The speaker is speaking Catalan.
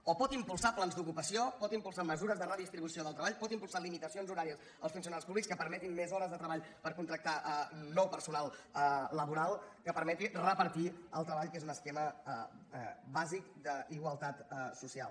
o pot impulsar plans d’ocupació pot impulsar mesures de redistribució del treball pot impulsar limitacions horàries als funcionaris públics que permetin més hores de treball per contractar nou personal laboral que permetin repartir el treball que és un esquema bàsic d’igualtat social